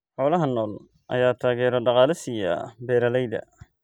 Xoolaha nool ayaa taageero dhaqaale siiya beeralayda.